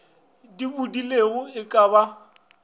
di bodilego e ka ba